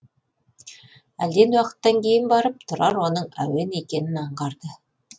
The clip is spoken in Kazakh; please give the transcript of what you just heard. әлден уақыттан кейін барып тұрар оның әуен екенін аңғарды